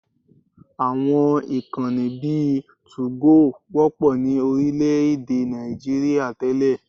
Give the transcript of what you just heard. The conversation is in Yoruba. Àwọn ìkànnì bíi 2go wọ́pọ̀ ní orílẹ̀-èdè Nigeria tẹ́lẹ̀